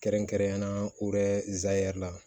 Kɛrɛnkɛrɛnnenya la la